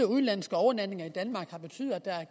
udenlandske overnatninger i danmark har betydet at der er